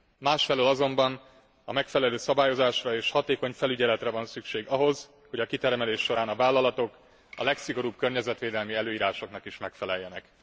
Másfelől azonban megfelelő szabályozásra és hatékony felügyeletre van szükség ahhoz, hogy a kitermelés során a vállalatok a legszigorúbb környezetvédelmi előírásoknak is megfeleljenek.